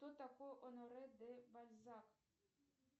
кто такой оноре де бальзак